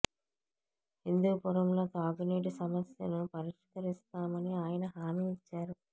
హిందూపురంలో తాగు నీటి సమస్యను పరిష్కరిస్తామని ఆయన హామీ ఇచ్చారు